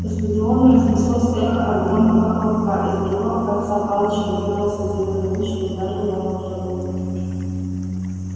по стадиону разнеслось эхо от громкого хлопка из другого конца палочки вырвался зелёный луч и ударил рона в живот